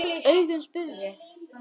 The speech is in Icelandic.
Augun spurðu.